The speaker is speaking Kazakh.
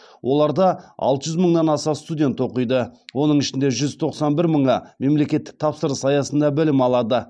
оларда алты жүз мыңнан аса студент оқиды оның ішінде жүз тоқсан бір мыңы мемлекеттік тапсырыс аясында білім алады